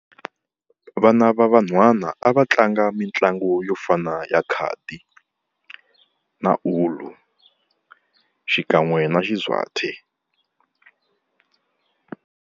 Vana va vanhwanyana a va tlanga mitlangu yo fana ya khadi na ulo xikan'we na xi swathi.